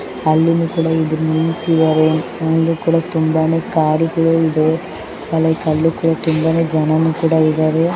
ಅಲ್ಲಿನೂ ಕೂಡ ಇಬ್ಬರು ನಿನಿಂತಿದ್ದಾರೆ ಅಲ್ಲಿನೂ ಕೂಡ ತುಂಬಾನೇ ಕಾರ್ಗ ಳು ಇದೆ ಮತ್ತೆ ಅಲ್ಲಿ ತುಂಬಾ ಜನ ಕೂಡ ಇದ್ದಾರೆ.